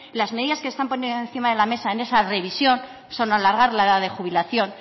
las medidas que se están poniendo encima de la mesa en esa revisión son alagar la edad de jubilación